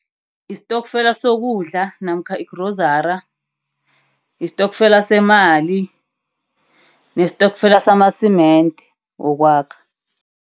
Istokfela sokudla namkha igrozari. Istokfela semali nesitokfela sama-cement wokwakha.